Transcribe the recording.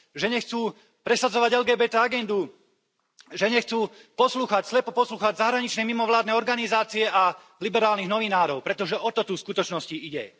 Že nechcú presadzovať LGBT agendu, že nechcú slepo poslúchať zahraničné mimovládne organizácie a liberálnych novinárov, pretože o to tu v skutočnosti ide.